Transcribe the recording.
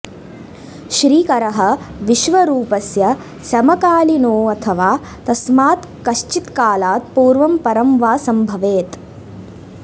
श्रीकरः विश्वरूपस्य समकालीनोऽथवा तस्मात् किश्चित् कालात् पूर्वं परं वा सम्भवेत्